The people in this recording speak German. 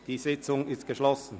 Die Sitzung ist geschlossen.